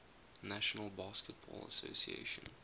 national basketball association